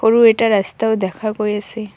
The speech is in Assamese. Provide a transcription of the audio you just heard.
সৰু এটা ৰাস্তাও দেখা গৈ আছে।